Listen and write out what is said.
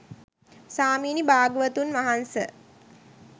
ස්වාමිනි භාග්‍යවතුන් වහන්ස,